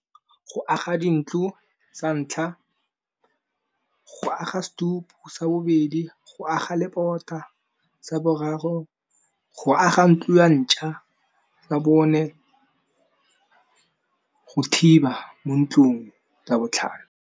Go aga di ntlo sa ntlha, go aga setupu sa bobedi, go aga lebota sa boraro, go aga ntlo ya ntšha tsa bone, go thiba mo ntlong sa botlhano.